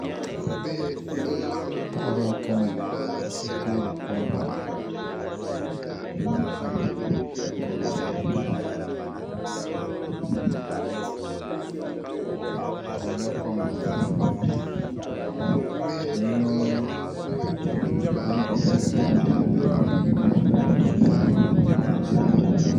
Paɣaba n kana n ti toori kom moɣali ni bi mii kpabla bihi ka toori kom maa yino Gungoŋ nyɛla zaɣ piɛlli ka yino mii Gungoŋ nyɛ zaɣ dozim